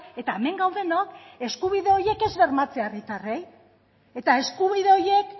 eta hemen gaudenok eskubide horiek ez bermatzea herritarrei eta eskubide horiek